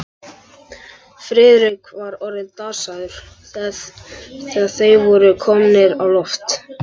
Friðrik var orðinn dasaður, þegar þeir voru komnir á loft.